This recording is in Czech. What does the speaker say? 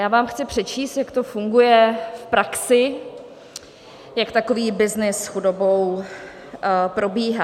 Já vám chci přečíst, jak to funguje v praxi, jak takový byznys s chudobou probíhá.